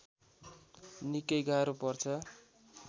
निकै गाह्रो पर्छ